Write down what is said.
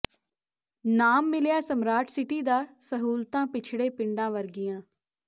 ਨਾਮ ਮਿਲਿਆ smart city ਦਾ ਸਹੂਲਤਾਂ ਪੱਛੜੇ ਪਿੰਡਾਂ ਵਰਗੀਆਂ